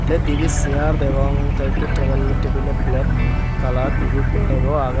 te dibey chear degong te ekko tebel tebilo blek kalar dibey bego agey.